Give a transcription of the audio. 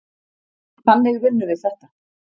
Þannig vinnum við þetta.